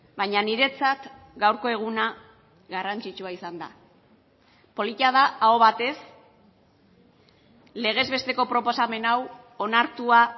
baina niretzat gaurko eguna garrantzitsua izan da polita da aho batez legez besteko proposamen hau onartua